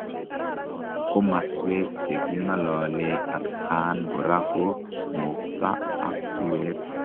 Komaswek chekingololee atkaan koraa ko moktaa ak suweet.